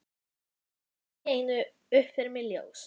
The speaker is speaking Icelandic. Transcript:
Þá rann allt í einu upp fyrir mér ljós.